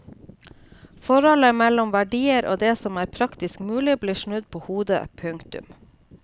Forholdet mellom verdier og det som er praktisk mulig blir snudd på hodet. punktum